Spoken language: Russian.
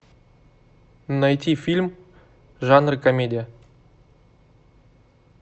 найти фильм жанр комедия